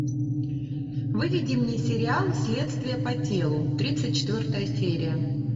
выведи мне сериал следствие по телу тридцать четвертая серия